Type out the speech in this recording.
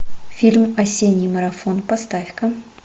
фильм осенний марафон поставь ка